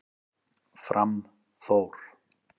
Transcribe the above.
Fram Þór